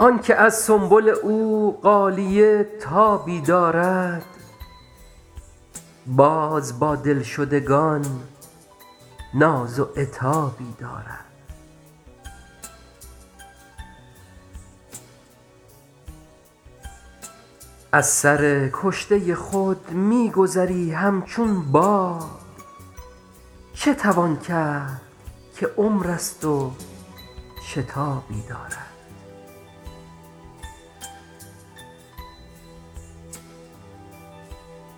آن که از سنبل او غالیه تابی دارد باز با دلشدگان ناز و عتابی دارد از سر کشته خود می گذری همچون باد چه توان کرد که عمر است و شتابی دارد